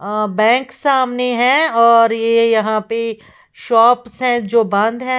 अ bank सामने है और ये यहां पे शॉप्स जो बंद है।